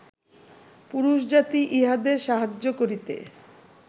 পুরুষজাতি ইহাদের সাহায্য করিতে